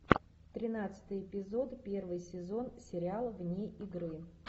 тринадцатый эпизод первый сезон сериала вне игры